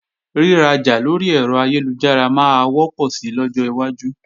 Rírajà lórí ẹ̀rọ ayélujára máa wọ́pọ̀ sí lọ́jọ́ iwájú